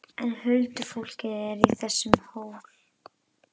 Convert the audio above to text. En huldufólkið er í þessum hól!